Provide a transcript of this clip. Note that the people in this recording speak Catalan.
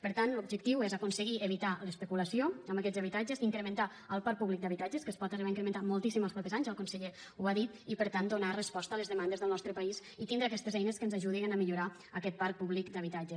per tant l’objectiu és aconseguir evitar l’especulació amb aquests habitatges incrementar el parc públic d’habitatges que es pot arribar a incrementar moltíssim els propers anys el conseller ho ha dit i per tant donar resposta a les demandes del nostre país i tindre aquestes eines que ens ajudin a millorar aquest parc públic d’habitatges